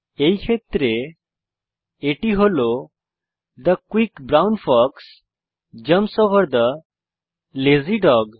এই ক্ষেত্রে এটি হল the quick brown fox jumps over the lazy dog